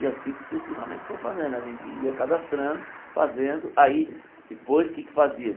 E assim sucessivamente foi fazendo, a gente ia cadastrando, fazendo, aí depois o que é que fazia?